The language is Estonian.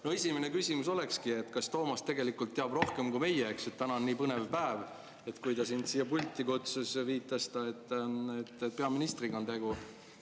Mu esimene küsimus olekski, et kas Toomas tegelikult teab rohkem kui meie – täna on nii põnev päev –, et kui ta sind siia pulti kutsus, viitas ta, et peaministriga on tegu.